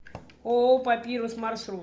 ооо папирус маршрут